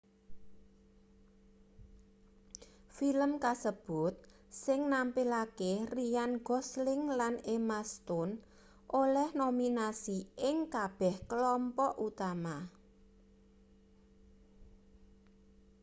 film kasebut sing nampilake ryan gosling lan emma stone oleh nominasi ing kabeh klompok utama